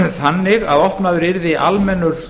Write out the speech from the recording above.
þannig að opnaður yrði almennur